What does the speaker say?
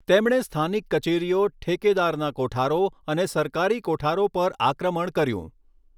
તેમણે સ્થાનિક કચેરીઓ ઠેકેદારના કોઠારો અને સરકારી કોઠારો પર આક્રમણ કર્યું.